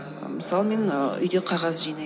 мысалы мен ааа үйде қағаз жинаймын